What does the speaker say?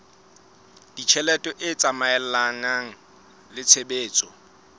ditjhelete e tsamaelana le tshebetso